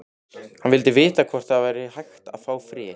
Hann vildi vita hvort það væri hægt að fá frið.